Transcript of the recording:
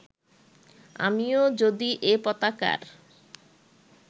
আমিও যদি এ পতাকার